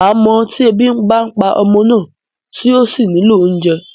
Màá mọ̀ tí ẹbí bá ń pa ọmọ náà, tí ó sì nílò oúnjẹ.